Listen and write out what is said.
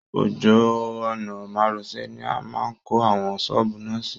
Ojú ọ̀nà márosẹ̀ ni a máa kọ́ àwọn ṣọ́ọ̀bù na sí